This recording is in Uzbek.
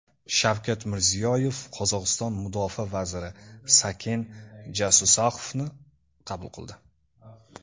Shavkat Mirziyoyev Qozog‘iston mudofaa vaziri Saken Jasuzaqovni qabul qildi.